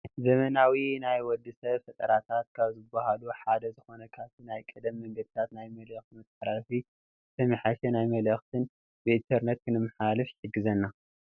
ዘመናዊ ናይ ወድ ሰብ ፈጠረታት ካብ ዝብሃሉ ሓደ ዝኮነ ካብቲ ናይ ቀደም መንገድታት ናይ መልእክቲ መተሓላለፊ ዝተመሓየሸ ናይ መልእክትን ብኢንተርኔት ክነመሓላልፍ ይሕግዘና ።